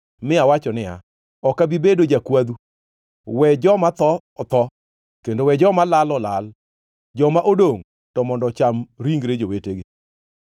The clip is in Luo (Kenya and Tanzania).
mi awacho niya, “Ok abi bedo jakwadhu. We joma tho otho, kendo we joma lal olal. Joma odongʼ to mondo ocham ringre jowetegi.”